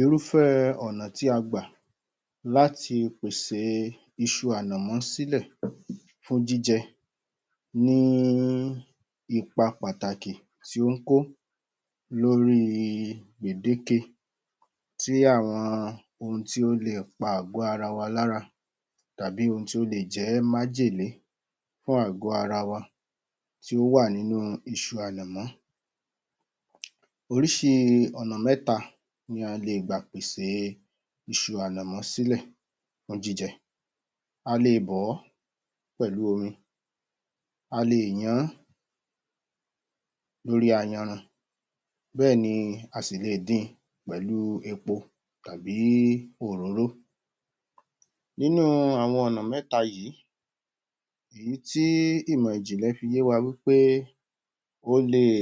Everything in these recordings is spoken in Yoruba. Irúfẹ́ ọ̀nà tí a gbà láti pèsè iṣu ànàmọ́ sílẹ̀ fún jíjẹ ní ipa pàtàkì tí ó ń kó lórí gbèdékè tí àwọn ohun tí ó leè pa àgọ̀ ara wa lára, tàbí ohun tí ó leè jẹ́ májèlé fún àgọ̀ ara wa tí ó wà nínú iṣu ànàmọ́. Oríṣi ọ̀nà mẹ́ta ni a lè gbà pèsè iṣu ànàmọ́ sílẹ̀ fún jíjẹ; a le bọ̀ ọ́ pẹ̀lú omi, a lè yan án lórí ayanran, bẹ́ẹ̀ ni a sì leè din pẹ̀lú epo tàbí òróró. Nínú àwọn ọ̀nà mẹta yìí, èyí tí ìmọ̀ ìjìnlẹ̀ fi yé wa wí pé ó leè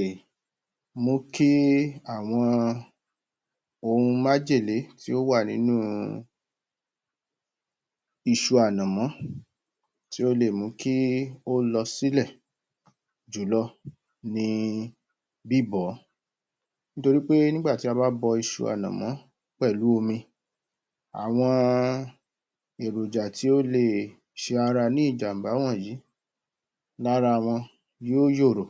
mú kí àwọn ohun májèlé tí ó wà nínú iṣu ànàmọ́, tí ó leè mú kí ó lọ sílẹ̀ jùlọ ni bíbọ̀ ọ́. Nítorí pe nígbà tí a bá bọ iṣu ànàmọ́ pẹ̀lú omi, àwọn èròjà tí ó leè ṣe ara ní ìjàm̀bá wọ̀nyìí, lára wọn yóó yòòrò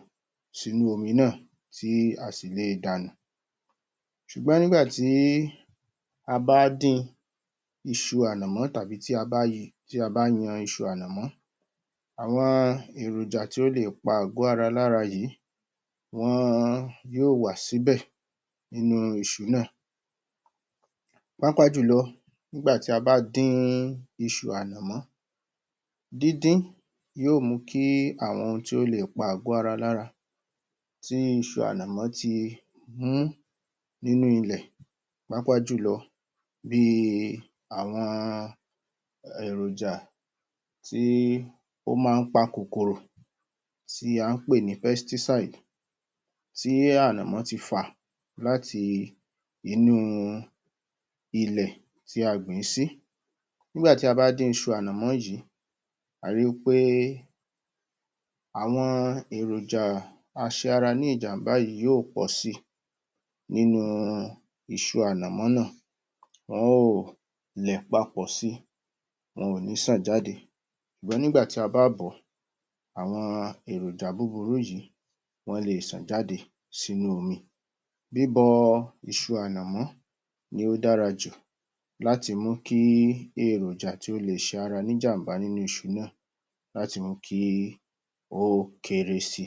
sínú omi náà, tí a sì leè dànù. Ṣùgbọ́n nígbà tí a bá dín iṣu ànàmọ́ tàbí tí a bá yan iṣu ànàmọ́. Àwọn èròjà tí ó lè pa àgọ̀ ara lára yìí wọn yóò wà síbẹ̀ nínú iṣu náà. Pàápàá jùlọ, nígbà tí a bá dín iṣu ànàmọ́. Dídín yóò mú kí àwọn ohun tí ó lè pa àgọ̀ ara lára, tí iṣu ànàmọ́ ti mú nínú ilẹ̀, pàápàá jùlọ bíi àwọn èròjà tí ó máa ń pa kòkòrò tí a ń pè ní 'pesticide' tí ànàmọ́ ti fà láti inúu ilẹ̀ tí a gbìn í sí. Nígbà tí a bá dín iṣu ànàmọ́ yìí, à á ri wí pé àwọn èròjà a-ṣara-ní-ìjàm̀bá yìí yóò pọ̀si nínu iṣu ànàmọ́ náà. Wọn ó ò lẹ̀ papọ̀ si, wọn ò ní ṣàn jáde. Ṣùgbọ́n nígbà tí a bá bọ̀ ọ́, àwọn èròjà búburú yìí, wọn leè ṣàn jáde sínú omi. Bíbọ iṣu ànàmọ́ ni ó dára jù láti mú kí èròjà tí ó leè ṣara níjàm̀bá nínú iṣu náà, láti mú kí ó kéré sí i.